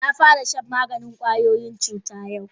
Na fara shan maganin kwayoyin cuta yau.